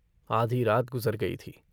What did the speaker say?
आधी रात गुज़र गई थी।